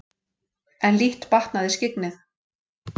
En lítt batnaði skyggnið.